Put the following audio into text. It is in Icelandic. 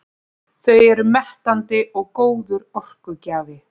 Þau eru mettandi og góður orkugjafi.